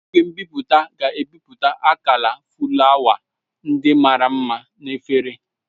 Igwe nbipute ga-ebipụta akala fụlawa ndị mara mma na efere